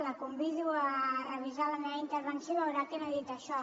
la convido a revisar la meva intervenció i veurà que no he dit això